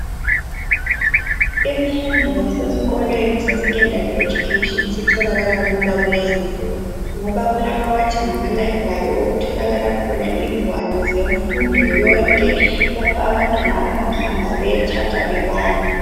Imfundo yasesikolweni sesecondary education, isitholakala lula kulezi insuku, ngoba kulabawathi ngamaLibrary. Okutholakala khona ingwalo zemfundo yonke! Lapha abantwana abangahamba bayethatha bebale.